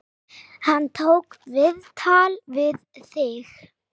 Hann tók viðtal við þig?